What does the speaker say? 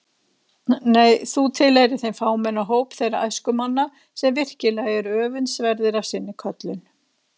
Nei, þú tilheyrir þeim fámenna hóp þeirra æskumanna, sem virkilega eru öfundsverðir af sinni köllun.